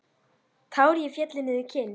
Tár ég felli niður kinn.